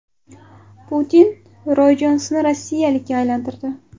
Putin Roy Jonsni rossiyalikka aylantirdi.